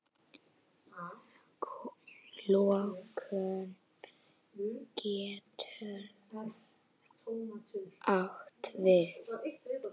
Lokun getur átt við